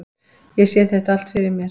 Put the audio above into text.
Ég sé þetta allt fyrir mér.